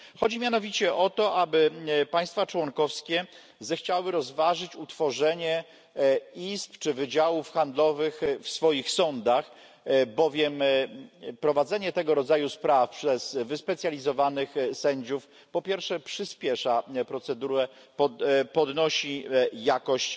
Chodzi mianowicie o to, aby państwa członkowskie zechciały rozważyć utworzenie izb czy wydziałów handlowych w swoich sądach, bowiem prowadzenie tego rodzaju spraw przez wyspecjalizowanych sędziów, po pierwsze przyspiesza procedurę, podnosi jakość